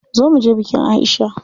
Zo muje bikin Aisha.